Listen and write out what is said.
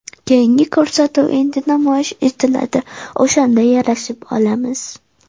Keyingi ko‘rsatuv endi namoyish etiladi, o‘shanda yarashib olamiz.